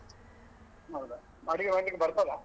ನೋಡುವ ಅಡಿಗೆ ಮಾಡ್ಲಿಕ್ಕೆ ಬರ್ತದಾ?